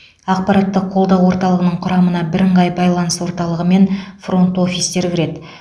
ақпараттық қолдау орталығының құрамына бірыңғай байланыс орталығы мен фронт офистер кіреді